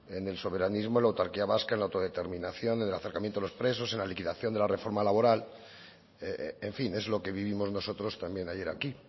en el soberanismo la autarquía vasca la autodeterminación en el acercamiento a los presos en la liquidación de la reforma laboral en fin es lo que vivimos nosotros también ayer aquí